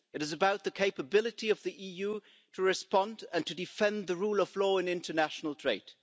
It is about the capability of the EU to respond and to defend the rule of law in international trade.